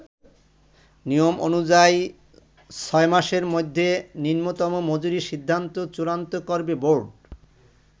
নিয়ম অনুযায়ী, ছয়মাসের মধ্যে নিম্নতম মজুরির সিদ্ধান্ত চূড়ান্ত করবে বোর্ড।